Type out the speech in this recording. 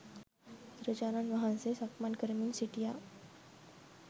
බුදුරජාණන් වහන්සේ සක්මන් කරමින් සිටියා